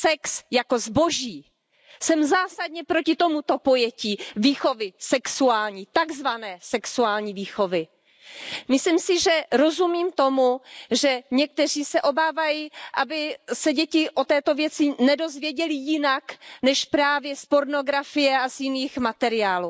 Sex jako zboží. Jsem zásadně proti tomuto pojetí výchovy sexuální, tak zvané sexuální výchovy. Myslím si, že rozumím tomu, že někteří se obávají, aby se děti o této věci nedozvěděly jinak než právě z pornografie a z jiných materiálů.